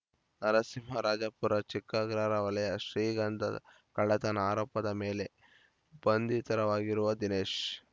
ನರಸಿಂಹರಾಜಪುರ ಚಿಕ್ಕಅಗ್ರಹಾರ ವಲಯ ಶ್ರೀಗಂಧ ಕಳ್ಳತನ ಆರೋಪದ ಮೇಲೆ ಬಂಧಿತರ ವಾಗಿರುವ ದಿನೇಶ್‌